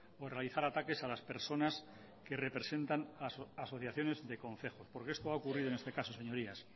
o realizar ataques a las personas que representan asociaciones de concejo porque esto ha ocurrido en este caso señorías